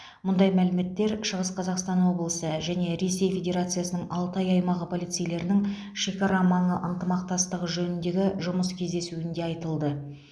мұндай мәліметтер шығыс қазақстан облысы және ресей федерациясының алтай аймағы полицейлерінің шекарамаңы ынтымақтастығы жөніндегі жұмыс кездесуінде айтылды